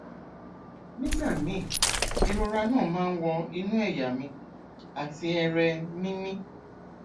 nígbà míì ìrora náà máa ń wọ inú ẹyà mi àti ẹrẹ mi mi